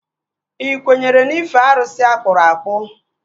Ị kwenyere n'ife arụsị akpụrụ akpụ?